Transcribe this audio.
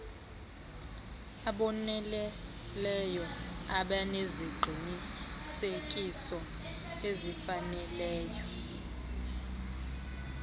aboneleyo abaneziqinisekiso ezifaneleyo